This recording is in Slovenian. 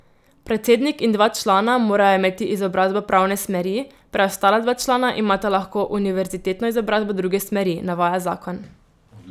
Predsednik in dva člana morajo imeti izobrazbo pravne smeri, preostala dva člana imata lahko univerzitetno izobrazbo druge smeri, navaja zakon.